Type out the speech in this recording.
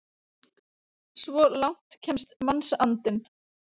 Svo langt kemst mannsandinn!